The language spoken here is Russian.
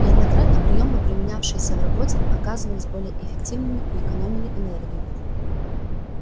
неоднократно приёмы применявшиеся в работе оказывались более эффективными и экономили энергию